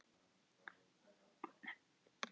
Á sama stað og síðast.